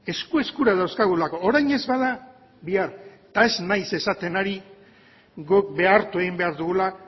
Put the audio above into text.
esku eskura dauzkagulako orain ez bada bihar eta ez naiz esaten ari guk behartu egin behar dugula